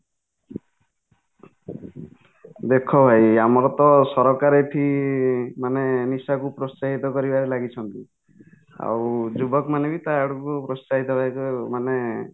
ଦେଖ ଭାଈ ଆମର ତ ସରକାର ଏଠି ମାନେ ନିଶାକୁ ପ୍ରୋତ୍ସାହିତ କରିବାରେ ଲାଗିଛନ୍ତି ଆଉ ଯୁବକ ମାନେ ବି ତା ଆଡ଼କୁ କୁ ପ୍ରୋତ୍ସାହିତ ମାନେ